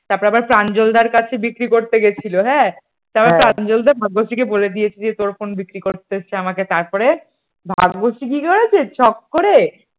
তারপর আবার প্রাঞ্জলদার কাছে বিক্রি করতে গিয়েছিল হ্যাঁ তারপর প্রাঞ্জলদা ভাগ্যশ্রী কে বলে দিয়েছিল যে তোর ফোন বিক্রি করতে এসেছে আমাকে। তারপরে ভাগ্যশ্রী কি করেছে শখ করে